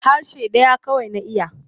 Harshe ɗaya kawai na iya.